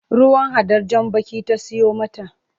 Ruwan hadar jan baki ta siyo mata.